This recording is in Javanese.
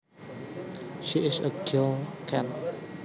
She is a girl cat